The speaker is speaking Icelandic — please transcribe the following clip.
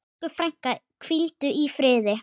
Elsku frænka, hvíldu í friði.